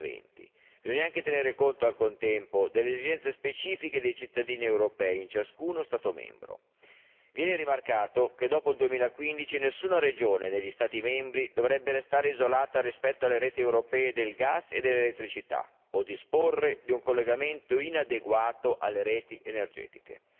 2020 nel contempo occorre anche tener conto delle esigenze specifiche dei cittadini europei in ciascuno Stato membro. Viene rimarcato che dopo il 2015 nessuna regione negli Stati membri dovrebbe restare isolata rispetto alle reti europee del gas e dell'elettricità o disporre di un collegamento inadeguato alle reti energetiche.